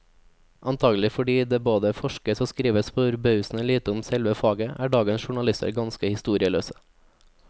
Antagelig fordi det både forskes og skrives forbausende lite om selve faget, er dagens journalister ganske historieløse.